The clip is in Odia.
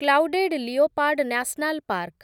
clouded leopard national park